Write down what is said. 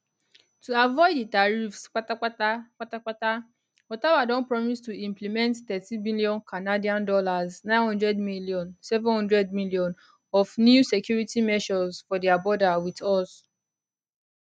to avoid di tariffs patapata patapata ottawa don promise to implement 13bn canadian dollars 900m 700m of new security measures for dia border wit us